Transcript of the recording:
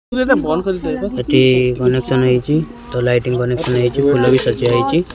ଏଠି କନେକ୍ସନ ହେଇଚି ତ ଲାଇଟିଂ କନେକ୍ସନ ବି ହେଇଚି ଫୁଲ ବି ସଜା ହେଇଚି ।